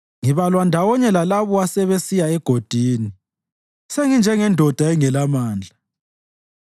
Ngibalwa ndawonye lalabo asebesiya egodini; senginjengendoda engelamandla.